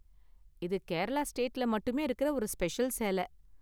இது கேரளா ஸ்டேட்ல மட்டுமே இருக்குற ஒரு ஸ்பெஷல் சேல.